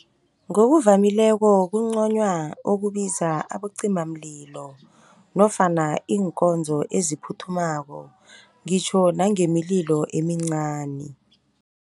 Ngokuvamileko kunconywa ukubiza abacimamlilo nofana iinkonzo eziphuthumako, ngitjho nangemililo emincani.